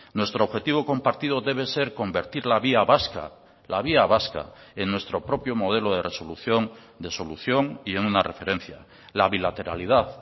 nuestro objetivo compartido debe ser convertir la vía vasca la vía vasca en nuestro propio modelo de resolución de solución y en una referencia la bilateralidad